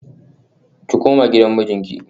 Ki koma gidan mijinki